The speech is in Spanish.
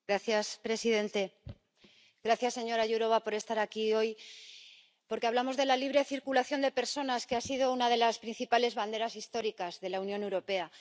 Señor presidente, gracias señora Jourová por estar aquí hoy, porque hablamos de la libre circulación de personas, que ha sido una de las principales banderas históricas de la Unión Europea.